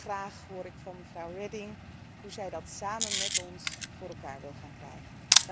Graag hoor ik van mevrouw Reding hoe ze dat samen met ons voor elkaar wil gaan krijgen.